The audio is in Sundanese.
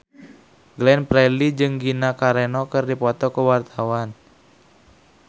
Glenn Fredly jeung Gina Carano keur dipoto ku wartawan